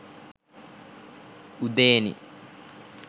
udeni